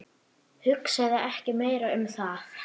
Hugsaðu ekki meira um það.